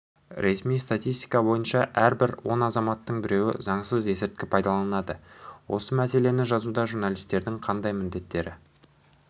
ресми статистика бойынша әрбір он азаматтың біреуі заңсыз есірткі пайдаланады осы мәселені жазуда журналистердің қандай міндеттері